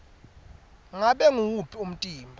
ngabe nguwuphi umtimba